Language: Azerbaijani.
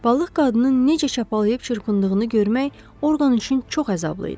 Balıq qadının necə çapalayıb çırpındığını görmək Orqan üçün çox əzablı idi.